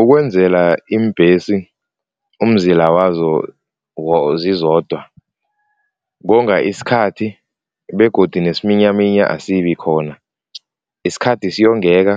Ukwenzela iimbhesi umzila wazo zizodwa konga isikhathi begodu nesiminyaminya asibi khona. Isikhathi siyongeka